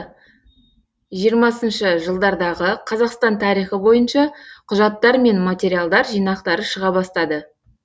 жиырмасыншы жылдардағы қазақстан тарихы бойынша құжаттар мен материалдар жинақтары шыға бастады